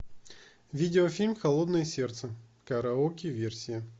видеофильм холодное сердце караоке версия